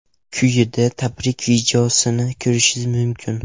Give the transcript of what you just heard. Quyida tabrik videosini ko‘rishingiz mumkin.